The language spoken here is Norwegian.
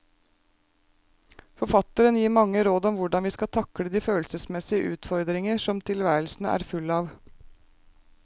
Forfatteren gir mange råd om hvordan vi skal takle de følelsesmessige utfordringer som tilværelsen er full av.